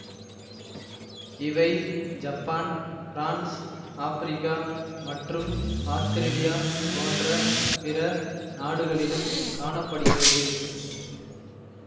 இவை Japan France Africa மற்றும் Australia போன்ற பிற நாடுகளிலும் காண படுகிறது